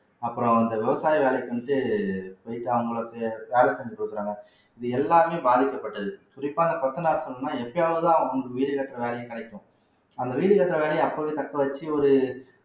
அப்புறம் இந்த விவசாய வேலைக்கு வந்துட்டு போயிட்டு அவங்களுக்கு வேலை செஞ்சு கொடுக்குறாங்க இது எல்லாமே பாதிக்கப்பட்டது குறிப்பா இந்த கொத்தனாருக்கெல்லாம் எப்பயாவதுதான் வீடு கட்டுற வேலையும் கிடைக்கும் அந்த வீடு கட்டுற வேலையை அப்பவே தக்க வச்சு ஒரு